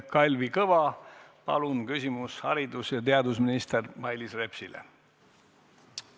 Kalvi Kõva, palun küsimus haridus- ja teadusminister Mailis Repsile!